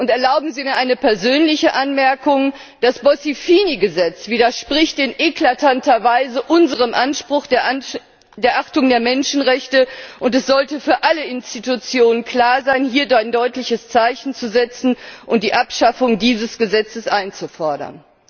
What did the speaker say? Erlauben Sie mir eine persönliche Anmerkung Das Bossi Fini Gesetz widerspricht in eklatanter Weise unserem Anspruch der Achtung der Menschenrechte, und es sollte für alle Institutionen klar sein, hier ein deutliches Zeichen zu setzen und die Abschaffung dieses Gesetzes einzufordern.